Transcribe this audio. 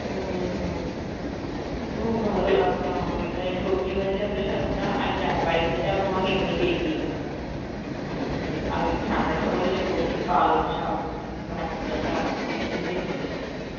হম হম খুব ভালো লাগে আমাকে ওখানে সবজি ভাজি এতই সস্তা, আর যার বাড়িতে যাও তোমাকে এমনিতেই দিয়ে দিত. আগে ঠান্ডার সময় তো সবজি~ পালং শাক, উম কিছুভি নিয়ে নাও তুমি,